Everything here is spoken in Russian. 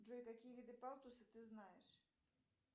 джой какие виды палтуса ты знаешь